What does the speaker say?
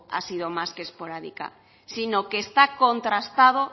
ha sido más que esporádica sino que está contrastado